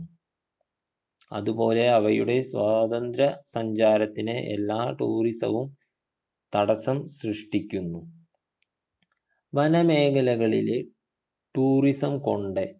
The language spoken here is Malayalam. അതുപോലെ അവയുടെ സ്വതന്ത്ര സഞ്ചാരത്തിനെ എല്ലാ tourism വും തടസം സൃഷ്ടിക്കുന്നു വന മേഖലകളിലെ tourism കൊണ്ട്